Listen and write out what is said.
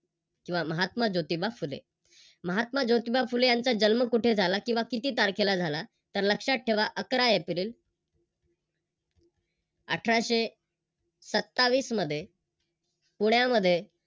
किव्हा महात्मा जोतिबा फुले. महात्मा जोतिबा फुले यांचा जन्म कुठे झाला किव्हा किती तारखेला झाला तर लक्षात ठेवा अकरा एप्रिल अठराशे सत्तावीस मध्ये पुण्यामध्ये